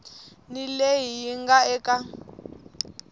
ni leyi yi nga eka